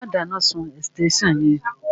Má dáná sun ẹ̀sítẹ́nsàn yẹn